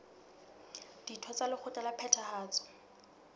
ditho tsa lekgotla la phethahatso